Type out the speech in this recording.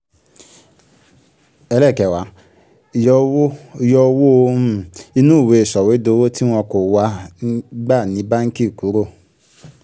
ẹlẹ́ẹ̀kẹwàá yọ owó yọ owó um inú ìwé sọ̀wédowó tí wọn kò wá gbà ní báǹkì kúrò